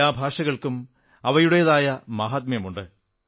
എല്ലാ ഭാഷകൾക്കും അവയുടെതായ മഹാത്മ്യമുണ്ട്